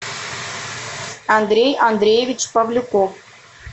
андрей андреевич павлюков